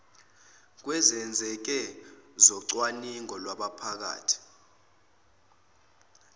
kwezenzeko zocwaningo lwabaphathi